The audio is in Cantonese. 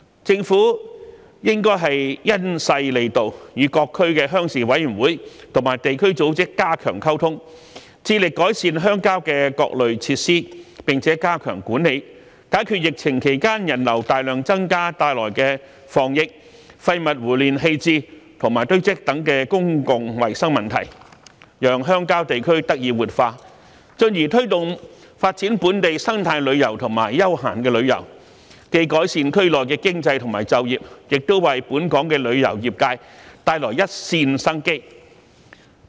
政府應該因勢利導，與各區鄉事委員會和地區組織加強溝通，致力改善鄉郊的各類設施，並加強管理，解決疫情期間人流大量增加帶來的防疫、廢物胡亂棄置和堆積等公共衞生問題，讓鄉郊地區得以活化，進而推動發展本地生態旅遊和休閒旅遊，既改善區內的經濟及就業，亦為本港旅遊業界帶來一線生機。